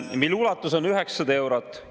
… mille ulatus on 900 eurot.